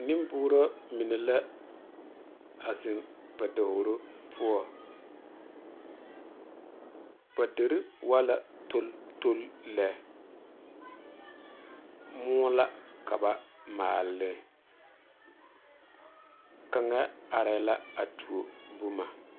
Nemboorɔ mine la a zeŋ ba davoro poɔ ba dire waa la dole dole lɛ móɔ ka ba maale ne kaŋa arɛ la a tuo boma